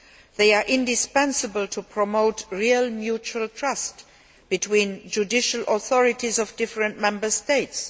They are indispensable to promote real mutual trust between the judicial authorities of different Member States.